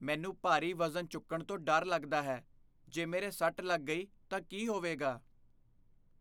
ਮੈਨੂੰ ਭਾਰੀ ਵਜ਼ਨ ਚੁੱਕਣ ਤੋਂ ਡਰ ਲੱਗਦਾ ਹੈ। ਜੇ ਮੇਰੇ ਸੱਟ ਲੱਗ ਗਈ ਤਾਂ ਕੀ ਹੋਵੇਗਾ?